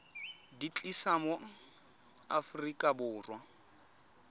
di tlisa mo aforika borwa